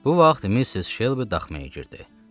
Bu vaxt Missis Şelbi daxmaya girdi.